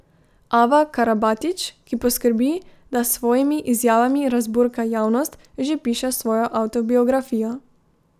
Ava Karabatić, ki poskrbi, da s svojimi izjavami razburka javnost, že piše svojo avtobiografijo.